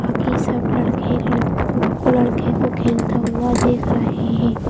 बाकी सब लड़के लड़को लड़के को खेलता हुआ देख रहे है।